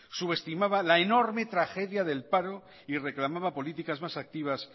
subestimaba la enorme tragedia del paro y reclamaba políticas más activas